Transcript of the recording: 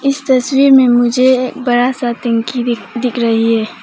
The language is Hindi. इस तस्वीर में मुझे बड़ा टंकी भी दिख रही है।